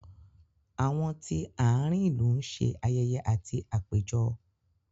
Àwọn tí àárín ìlú ń ṣe ayẹyẹ àti àpéjọ